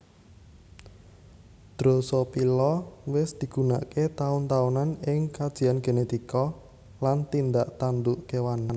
Drosophila wis digunakaké taun taunan ing kajian genetika lan tindak tanduk kéwan